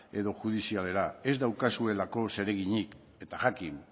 edo judizialera ez daukazuelako zereginik eta jakin